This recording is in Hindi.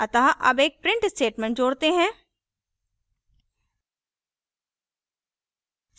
अतः add एक print statement जोड़ते हैं